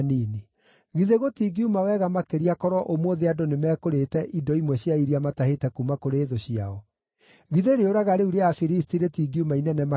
Githĩ gũtingiuma wega makĩria korwo ũmũthĩ andũ nĩmekũrĩĩte indo imwe cia iria matahĩte kuuma kũrĩ thũ ciao? Githĩ rĩũraga rĩu rĩa Afilisti rĩtingiuma inene makĩria?”